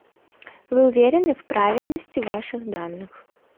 вы уверены в правильности ваших данных